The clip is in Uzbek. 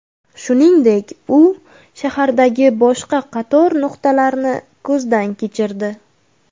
Shuningdek, u shahardagi boshqa qator nuqtalarni ko‘zdan kechirdi.